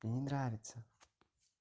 мне не нравится